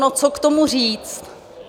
No, co k tomu říct?